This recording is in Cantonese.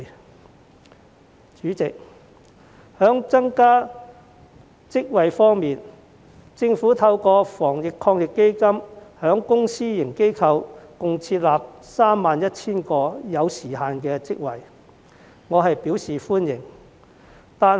代理主席，在增加職位方面，政府透過防疫抗疫基金在公私營機構設立共 31,000 個有時限職位，我對此表示歡迎。